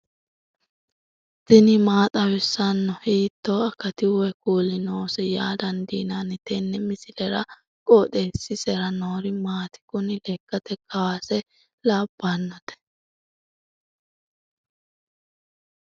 tini maa xawissanno ? hiitto akati woy kuuli noose yaa dandiinanni tenne misilera? qooxeessisera noori maati? kuni lekkate kuwase labbannote